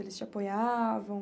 Eles te apoiavam?